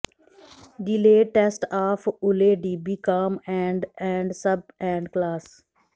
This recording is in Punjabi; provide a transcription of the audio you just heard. delayed test of OLEDB com and and sub and class